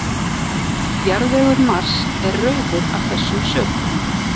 Jarðvegur Mars er rauður af þessum sökum.